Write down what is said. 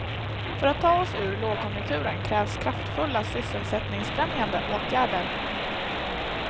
För att ta oss ur lågkonjunkturen krävs kraftfulla sysselsättningsfrämjande åtgärder.